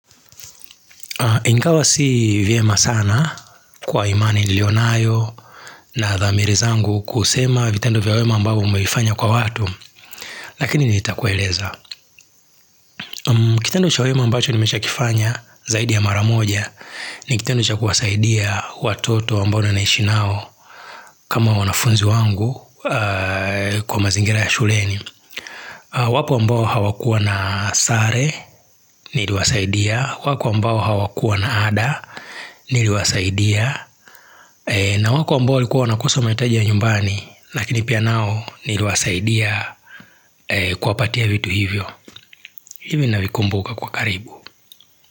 Ingawa si vyema sana kwa imani niliyonayo na dhamiri zangu kusema vitendo vya wema ambao umeifanya kwa watu Lakini nitakueleza Kitendo cha wema ambacho nimeshakifanya zaidi ya mara moja ni kitendo cha kuwasaidia watoto ambao naishi nao kama wanafunzi wangu kwa mazingira ya shuleni wapo ambao hawakuwa na sare niliwasaidia wako ambao hawakuwa na ada niliwasaidia na wako amboa walikuwa wanakosa mahitaji ya nyumbani lakini pia nao niliwasaidia kuwapatia vitu hivyo. Hivyo navikumbuka kwa karibu.